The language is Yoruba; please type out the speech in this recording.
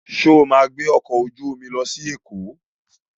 Sọ ma gbé ọkọ̀ ojú omi lọ sí Èkó?